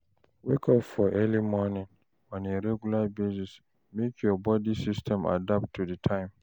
Wake up for early morning on a regular basis make your body system adapt to di time